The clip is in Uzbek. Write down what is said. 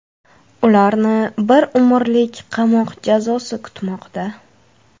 Ularni bir umrlik qamoq jazosi kutmoqda.